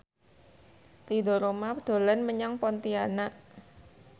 Ridho Roma dolan menyang Pontianak